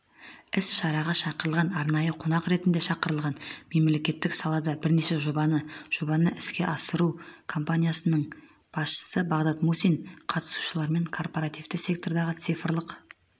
іс-шараға шақырылған арнайы қонақ ретінде шақырылған мемлекеттік салада бірнеше жобаны жобаны іске асырған компаниясының басшысы бағдат мусин қатысушылармен корпоративті сектордағы цифрлық